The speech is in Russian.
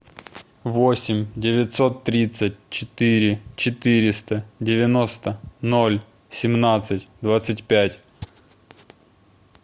восемь девятьсот тридцать четыре четыреста девяносто ноль семнадцать двадцать пять